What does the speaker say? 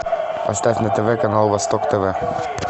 поставь на тв канал восток тв